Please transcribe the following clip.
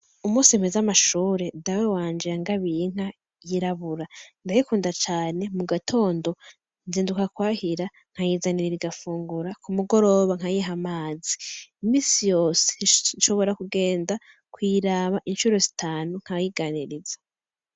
Umunsi mpez' amashure Dawe wanje yangabiy'inka yirabura, ndayikunda cane mu gatondo nzinduka kwahira nkayizanira igafungura, ku mugoroba nkayih'amazi, misi yose nshobora kugenda kuyiraba incuro zitanu nkayiganiriza.